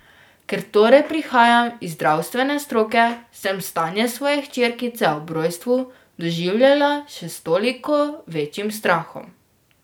Ker torej prihajam iz zdravstvene stroke, sem stanje svoje hčerkice ob rojstvu doživljala še s toliko večjim strahom.